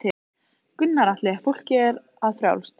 Gunnar Atli: Fólki er það frjálst?